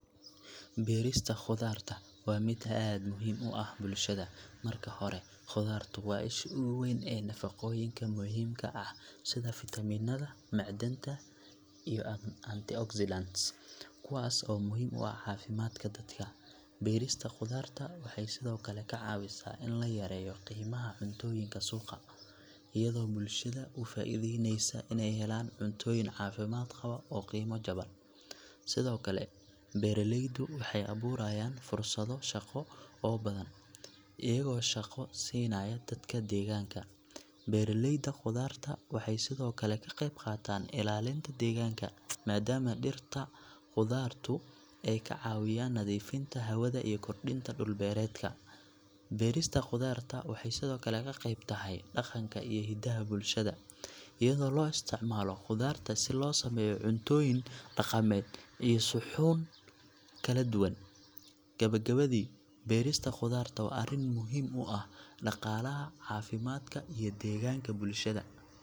Beerista khudaarta waa mid aad muhiim u ah bulshada. Marka hore, khudaartu waa isha ugu weyn ee nafaqooyinka muhiimka ah, sida fiitamiinada, macdanta, iyo antioxidants, kuwaas oo muhiim u ah caafimaadka dadka. Beerista khudaarta waxay sidoo kale ka caawisaa in la yareeyo qiimaha cuntooyinka suuqa, iyadoo bulshada u fududeyneysa inay helaan cuntooyin caafimaad qaba oo qiimo jaban. Sidoo kale, beeralaydu waxay abuurayaan fursado shaqo oo badan, iyagoo shaqo siinaya dadka deegaanka. Beeralayda khudaarta waxay sidoo kale ka qayb qaataan ilaalinta deegaanka, maadaama dhirta khudaartu ay ka caawiyaan nadiifinta hawada iyo kordhinta dhul-beereedka. Beerista khudaarta waxay sidoo kale qayb ka tahay dhaqanka iyo hidaha bulshada, iyadoo loo isticmaalo khudaarta si loo sameeyo cuntooyin dhaqameed iyo suxuun kala duwan. Gabagabadii, beerista khudaarta waa arrin muhiim u ah dhaqaalaha, caafimaadka, iyo deegaanka bulshada.